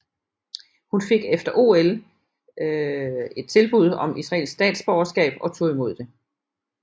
Hun fik efter OL fik et tilbud om israelsk statsborgerskab og tog imod det